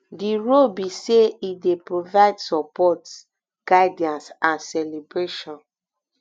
di role be say e dey provide support guidance and celebration